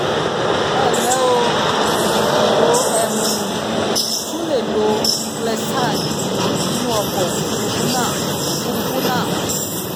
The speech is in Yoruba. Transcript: ẹ ǹlẹ́ o! o um tún lè lo clexane nínú ọkọ̀ òfuurufú náà òfuurufú náà